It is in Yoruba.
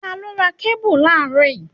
Ta ló ra kébù láàrọ́ yìí?